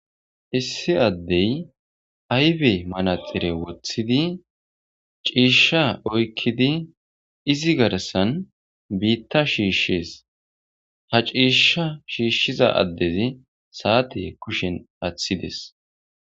Issi addee ayfe manatsire woththidi ciishshaa oykkidi izi garssan biiththaa shiishshes; ha ciishshaa shiishshiza addethi saathee kushen aaththi des.